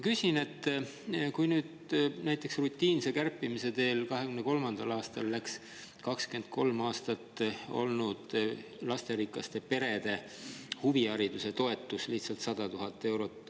Rutiinse kärpimise teel läks 2023. aastal ka lasterikaste perede huvihariduse toetus, mida on 23 aastat.